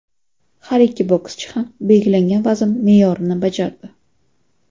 Har ikki bokschi ham belgilangan vazn me’yorini bajardi.